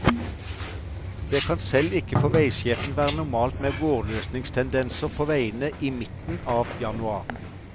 Det kan, selv ikke for veisjefen, være normalt med vårløsningstendenser på veiene i midten av januar.